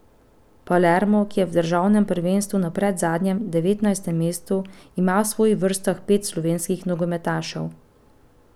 Palermo, ki je v državnem prvenstvu na predzadnjem, devetnajstem mestu, ima v svojih vrstah pet slovenskih nogometašev.